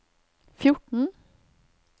fjorten